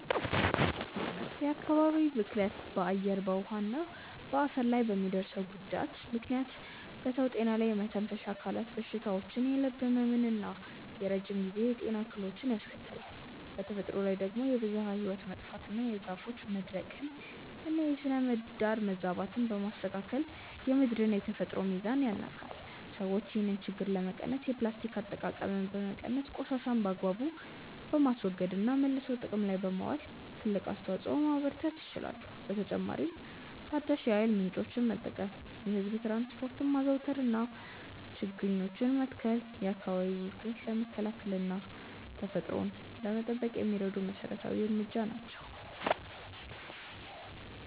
የአካባቢ ብክለት በአየር፣ በውሃ እና በአፈር ላይ በሚያደርሰው ጉዳት ምክንያት በሰው ጤና ላይ የመተንፈሻ አካላት በሽታዎችን፣ የልብ ህመምን እና የረጅም ጊዜ የጤና እክሎችን ያስከትላል። በተፈጥሮ ላይ ደግሞ የብዝሃ ህይወት መጥፋትን፣ የዛፎች መድረቅን እና የስነ-ምህዳር መዛባትን በማስከተል የምድርን የተፈጥሮ ሚዛን ያናጋል። ሰዎች ይህንን ችግር ለመቀነስ የፕላስቲክ አጠቃቀምን በመቀነስ፣ ቆሻሻን በአግባቡ በማስወገድ እና መልሶ ጥቅም ላይ በማዋል ትልቅ አስተዋጽኦ ማበርከት ይችላሉ። በተጨማሪም ታዳሽ የኃይል ምንጮችን መጠቀም፣ የህዝብ ትራንስፖርትን ማዘውተር እና ችግኞችን መትከል የአካባቢ ብክለትን ለመከላከል እና ተፈጥሮን ለመጠበቅ የሚረዱ መሰረታዊ እርምጃዎች ናቸው።